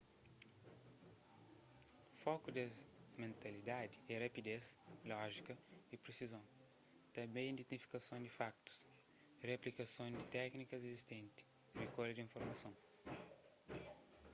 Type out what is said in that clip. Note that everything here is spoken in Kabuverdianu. foku des mentalidadi é rapidez lójika y presizon tanbê identifikason di fakutus replikason di téknikas izistentis rikolha di informason